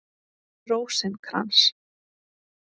Rósinkrans